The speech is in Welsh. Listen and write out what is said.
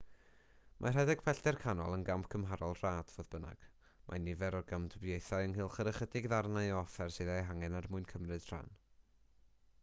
mae rhedeg pellter canol yn gamp gymharol rad fodd bynnag mae nifer o gamdybiaethau ynghylch yr ychydig ddarnau o offer sydd eu hangen er mwyn cymryd rhan